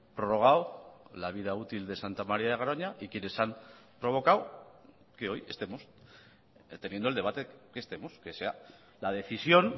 prorrogado la vida útil de santa maria de garoña y quienes han provocado que hoy estemos teniendo el debate que estemos que sea la decisión